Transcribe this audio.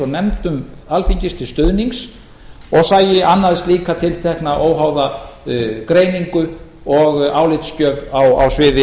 nefndum alþingis til stuðnings og sæi annaðist slíka óháða greiningu og álitsgjöf á sviði